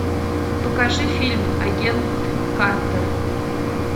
покажи фильм агент картер